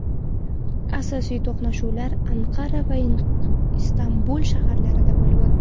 Asosiy to‘qnashuvlar Anqara va Istanbul shaharlarida bo‘lib o‘tdi.